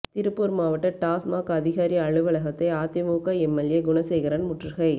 திருப்பூர் மாவட்ட டாஸ்மாக் அதிகாரி அலுவலகத்தை அதிமுக எம்எல்ஏ குணசேகரன் முற்றுகை